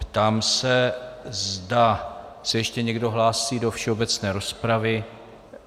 Ptám se, zda se ještě někdo hlásí do všeobecné rozpravy.